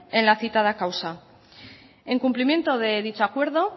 en la citada causa en cumplimento de dicho acuerdo